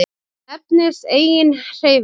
Þetta nefnist eiginhreyfing.